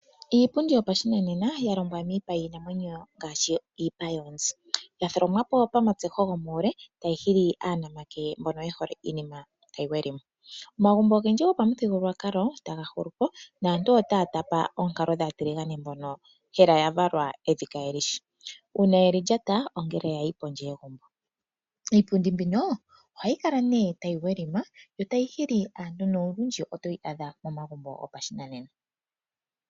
Iipundi yopashinanena ya longwa miipa yiinamwenyo ngaashi iipa yoonzi. Ya tholomwa pamatseho gomuule tayi hili aanamake mbono ye hole iinima tayi welima. Omagumbo ogendji momuthigululwakalo taga hulu po naantu otaya tapa oonkalo dhaatiligane mbono hela ya valwa evi kaye li shi uuna ye li lyata ongele ya yin pondje yegumbo. Iipundi mbino ohayi kala nee tayi welima yo tayi nolundji otoyi adha momagumbo gopashinananena.